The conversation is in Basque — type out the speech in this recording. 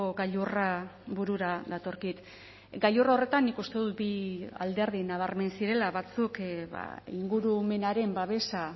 gailurra burura datorkit gailur horretan nik uste dut bi alderdi nabarmen zirela batzuk ingurumenaren babesa